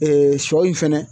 sɔ in fɛnɛ